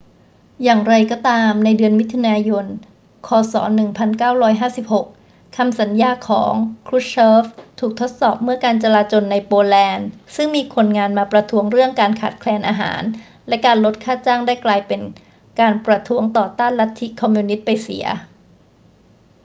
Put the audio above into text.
อย่างไรก็ตาม ในเดือนมิถุนายน ค. ศ. 1956 คำสัญญาของ krushchev ถูกทดสอบเมื่อการจลาจลในโปแลนด์ซึ่งมีคนงานมาประท้วงเรื่องการขาดแคลนอาหารและการลดค่าจ้างได้กลายเป็นการประท้วงต่อต้านลัทธิคอมมิวนิสต์ไปเสีย